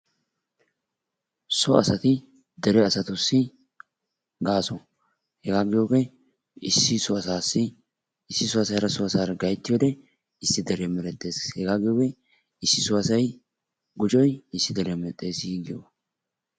So asatti dere asttussi gaaso. Hegaa giyoogee issi so asaassi issi so asay hara so asaara gayttiyode issi dere merettes hegaa giyoogee issi so asay gujoy issi deriyaa medhdheesi giyoogas.